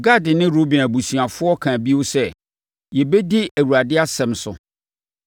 Gad ne Ruben abusuafoɔ kaa bio sɛ, “Yɛbɛdi Awurade asɛm so;